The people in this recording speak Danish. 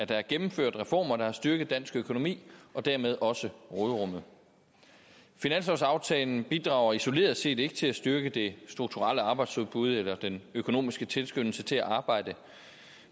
der er gennemført reformer der har styrket dansk økonomi og dermed også råderummet finanslovsaftalen bidrager isoleret set ikke til at styrke det strukturelle arbejdsudbud eller den økonomiske tilskyndelse til at arbejde